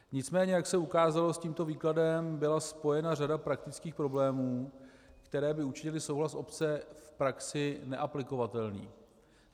Nicméně jak se ukázalo, s tímto výkladem byla spojena řada praktických problémů, které by učinily souhlas obce v praxi neaplikovatelným.